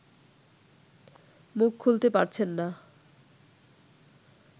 মুখ খুলতে পারছেন না